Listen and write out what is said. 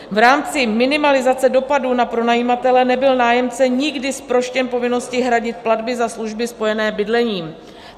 V rámci minimalizace dopadů na pronajímatele nebyl nájemce nikdy zproštěn povinnosti hradit platby za služby spojené s bydlením.